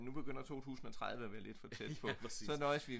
nu begynder 2030 at være lidt for tæt på så nøjes vi